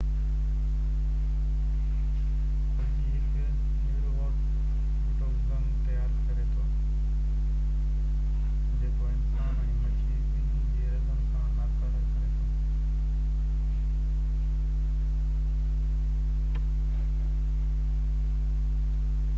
الجي هڪ نيوروٽوگزن تيار ڪري ٿو جيڪو انسانن ۽ مڇي ٻني جي رڳن کي ناڪاره ڪري ٿو